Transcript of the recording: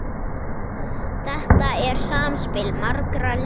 Þetta er samspil margra aðila.